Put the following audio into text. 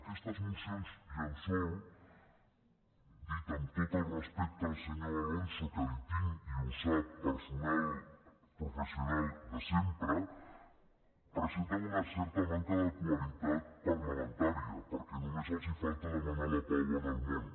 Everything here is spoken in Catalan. aquestes mocions llençol dit amb tot al respecte al senyor alonso que l’hi tinc i ho sap personal professional de sempre presenten una certa manca de qualitat parlamentària perquè només els falta demanar la pau en el món